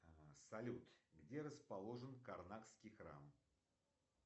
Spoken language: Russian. салют где расположен карнакский храм